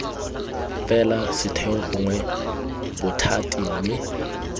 fela setheo gongwe bothati mme